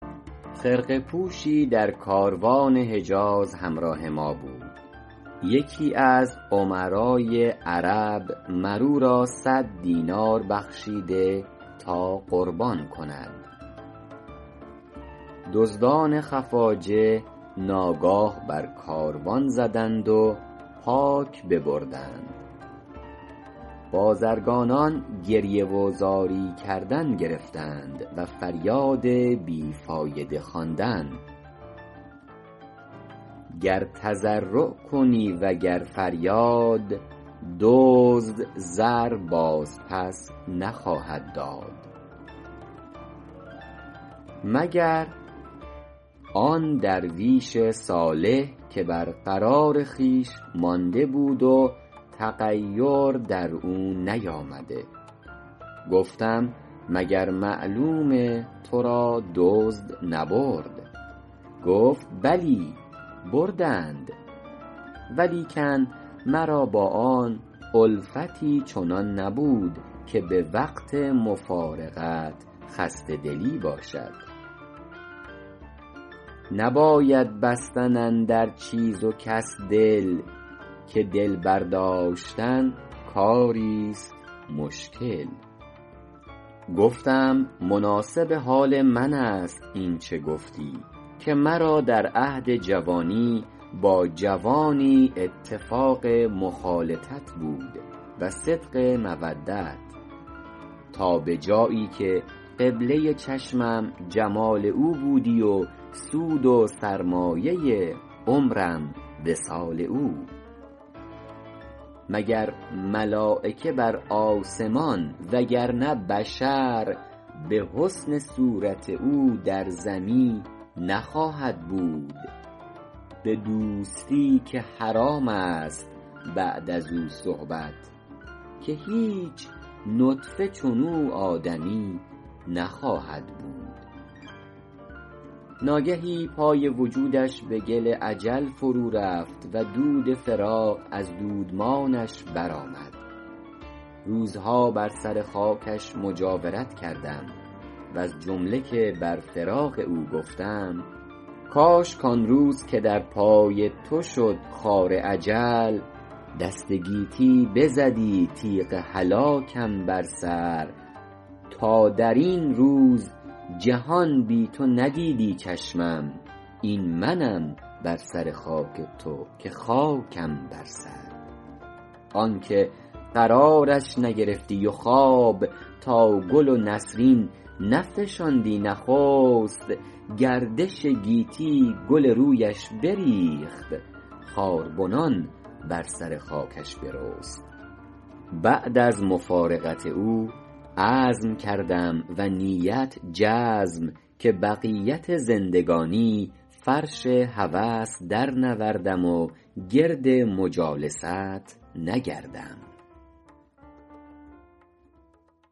خرقه پوشی در کاروان حجاز همراه ما بود یکی از امرای عرب مر او را صد دینار بخشیده تا قربان کند دزدان خفاجه ناگاه بر کاروان زدند و پاک ببردند بازرگانان گریه و زاری کردن گرفتند و فریاد بی فایده خواندن گر تضرع کنی و گر فریاد دزد زر باز پس نخواهد داد مگر آن درویش صالح که بر قرار خویش مانده بود و تغیر در او نیامده گفتم مگر معلوم تو را دزد نبرد گفت بلی بردند ولیکن مرا با آن الفتی چنان نبود که به وقت مفارقت خسته دلی باشد نباید بستن اندر چیز و کس دل که دل برداشتن کاری ست مشکل گفتم مناسب حال من است این چه گفتی که مرا در عهد جوانی با جوانی اتفاق مخالطت بود و صدق مودت تا به جایی که قبله چشمم جمال او بودی و سود سرمایه عمرم وصال او مگر ملایکه بر آسمان وگر نه بشر به حسن صورت او در زمی نخواهد بود به دوستی که حرام است بعد از او صحبت که هیچ نطفه چنو آدمی نخواهد بود ناگهی پای وجودش به گل اجل فرو رفت و دود فراق از دودمانش برآمد روزها بر سر خاکش مجاورت کردم وز جمله که بر فراق او گفتم کاش کآن روز که در پای تو شد خار اجل دست گیتی بزدی تیغ هلاکم بر سر تا در این روز جهان بی تو ندیدی چشمم این منم بر سر خاک تو که خاکم بر سر آن که قرارش نگرفتی و خواب تا گل و نسرین نفشاندی نخست گردش گیتی گل رویش بریخت خاربنان بر سر خاکش برست بعد از مفارقت او عزم کردم و نیت جزم که بقیت زندگانی فرش هوس درنوردم و گرد مجالست نگردم سود دریا نیک بودی گر نبودی بیم موج صحبت گل خوش بدی گر نیستی تشویش خار دوش چون طاووس می نازیدم اندر باغ وصل دیگر امروز از فراق یار می پیچم چو مار